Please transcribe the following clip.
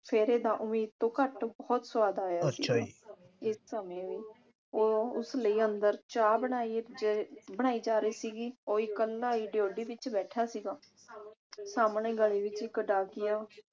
ਫੇਰੇ ਦਾ ਉਮੀਦ ਤੋਂ ਘੱਟ ਬਹੁਤ ਸੁਆਦ ਆਇਆ ਸੀ। ਇਸ ਸਮੇਂ ਵੀ ਉਹ ਉਸ ਲਈ ਅੰਦਰ ਚਾਹ ਬਣਾਈ ਬਣਾਈ ਜਾ ਰਹੀ ਸੀਗੀ। ਉਹ ਇਕੱਲਾ ਈ ਡਿਉਢੀ ਵਿਚ ਬੈਠਾ ਸੀਗਾ। ਸਾਹਮਣੇ ਗਲੀ ਵਿਚ ਇਕ ਡਾਕੀਆ